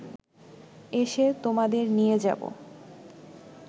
এসে তোমাদের নিয়ে যাব